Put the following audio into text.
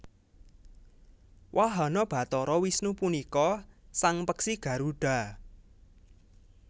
Wahana Bathara Wisnu punika sang peksi Garudha